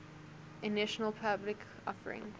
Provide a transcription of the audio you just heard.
initial public offering